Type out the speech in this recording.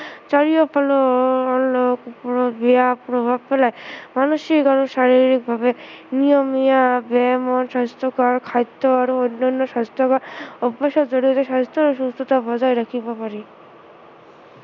চাৰিওফালে অলপ হলেও বেয়া প্ৰভাৱ পেলায় মানসিকভাৱে, শাৰীৰিকভাৱে নিয়মীয়া ব্য়ায়াম আৰু স্ৱাস্থ্য়কৰ খাদ্য় আৰু অন্য়ান্য় স্ৱাস্থ্য়বান স্ৱাস্থ্য় আৰু সুস্থতা বজাই ৰাখিব পাৰি